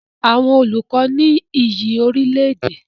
Àwọn olùkọ ní iyì orílẹ̀-èdè.